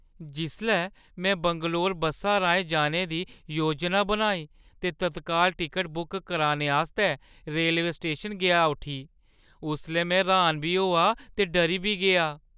जिसलै में बंगलोर बस्सा राहें जाने दी योजना बनाई ते तत्काल टिकट बुक कराने आस्तै रेलवे स्टेशन गेआ उठी, उसलै में र्‌हान बी होआ ते डरी बी गेआ ।